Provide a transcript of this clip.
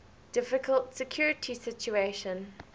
difficult security situation